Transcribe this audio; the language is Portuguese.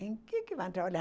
Em que vão trabalhar?